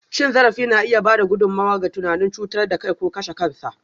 Cin zarafi na iya ba da gudummawa ga tunanin cutar da kai ko kashe kansa.